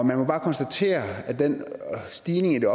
man må bare konstatere at den stigning i det